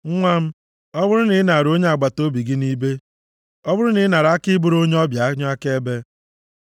Nwa m, ọ bụrụ na ị nara onye agbataobi gị nʼibe, ọ bụrụ na ị nara aka ị bụrụ onye ọbịa onye akaebe,